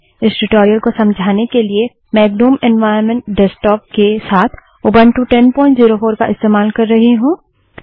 इस ट्यूटोरियल को समझाने के लिए मैं ग्नुम एन्वाइरन्मेन्ट डेस्कटॉप के साथ उबंटू 1004 का इस्तेमाल कर रही हूँ